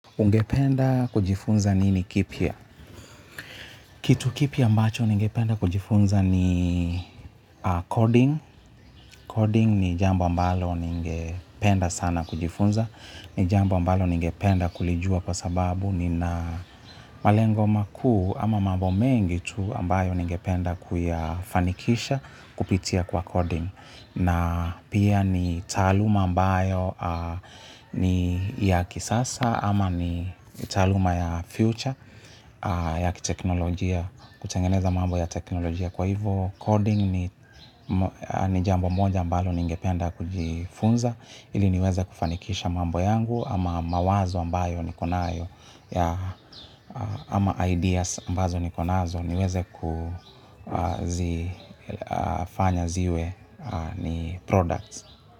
Ungependa kujifunza nini kipya? Kitu kipya ambacho ningependa kujifunza ni coding. Coding ni jambo ambalo ningependa sana kujifunza. Ni jambo ambalo ningependa kulijua kwa sababu nina malengo makuu ama mambo mengi tu ambayo ningependa kuyafanikisha kupitia kwa coding. Na pia ni taaluma ambayo ni ya kisasa ama ni taaluma ya future ya kiteknolojia kutengeneza mambo ya teknolojia kwa hivyo coding ni jambo moja ambalo ningependa kujifunza ili niweze kufanikisha mambo yangu ama mawazo ambayo niko nayo ya ama ideas ambazo niko nazo niweze kufanya ziwe ni products.